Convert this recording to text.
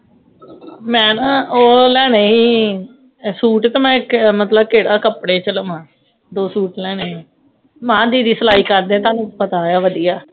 ਮੈਂ ਨਾ ਉਹ ਲੈਣੇ ਹੀ ਸੂਟ ਤੇ ਮੈਂ ਮਤਲਬ ਕਿਹੜੇ ਕੱਪੜੇ ਚ ਲਵਾਂ, ਦੋ ਸੂਟ ਲੈਣੇ, ਮੇਹਾ ਦੀਦੀ ਵੀ ਸਿਲਾਈ ਕਰਦੇ ਤਾਹਨੂੰ ਪਤਾਆ ਵਧਿਆ